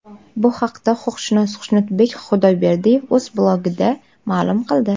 Bu haqda huquqshunos Xushnudbek Xudoyberdiyev o‘z blogida ma’lum qildi .